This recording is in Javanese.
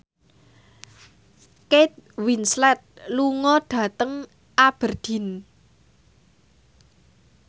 Kate Winslet lunga dhateng Aberdeen